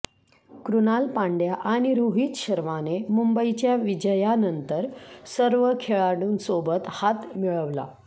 कृणाल पांड्या आणि रोहित शर्माने मुंबईच्या विजयानंतर सर्व खेळाडूंसोबत हात मिळवला